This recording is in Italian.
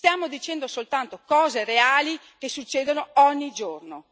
Stiamo dicendo soltanto cose reali che succedono ogni giorno.